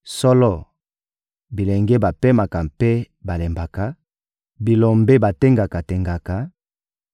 Solo, bilenge bapemaka mpe balembaka, bilombe batengaka-tengaka;